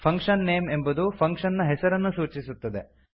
function name ಎಂಬುದು function ನ ಹೆಸರನ್ನು ಸೂಚಿಸುತ್ತದೆ